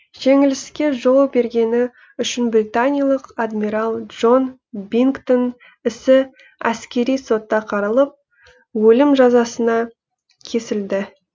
жеңіліске жол бергені үшін британиялық адмирал джон бингтың ісі әскери сотта қаралып өлім жазасына кесілді